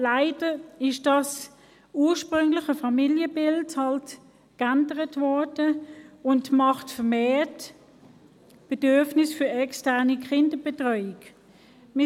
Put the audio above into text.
Leider hat sich das ursprüngliche Familienbild verändert, was zu einem vermehrten Bedürfnis nach externer Kinderbetreuung führt.